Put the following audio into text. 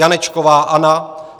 Janečková Anna